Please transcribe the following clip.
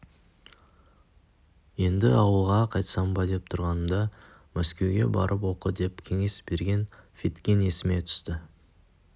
енді ауылға қайтсам ба деп тұрғанымда мәскеуге барып оқы деп кеңес берген федкин есіме түсті